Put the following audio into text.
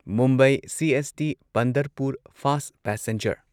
Mumbai CST Pandharpur fast passenger